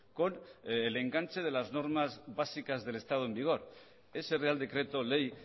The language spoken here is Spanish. con el enganche de las normas básicas del estado en vigor ese real decreto ley